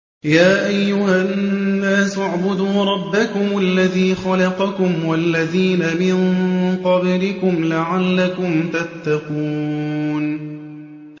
يَا أَيُّهَا النَّاسُ اعْبُدُوا رَبَّكُمُ الَّذِي خَلَقَكُمْ وَالَّذِينَ مِن قَبْلِكُمْ لَعَلَّكُمْ تَتَّقُونَ